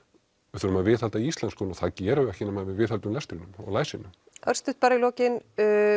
við þurfum að viðhalda íslenskunni og það gerum við ekki nema við viðhöldum lestrinum og læsinu örstutt bara í lokin